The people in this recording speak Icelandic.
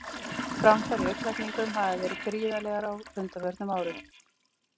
Framfarir í augnlækningum hafa verið gríðarlegar á undanförnum árum.